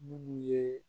Minnu ye